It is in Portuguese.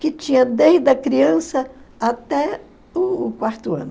Que tinha desde a criança até o quarto ano.